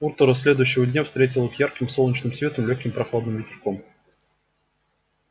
утро следующего дня встретило их ярким солнечным светом и лёгким прохладным ветерком